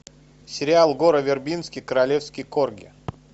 сериал гора вербински королевский корги